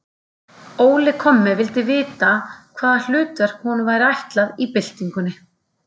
Óli kommi vildi vita, hvaða hlutverk honum væri ætlað í byltingunni.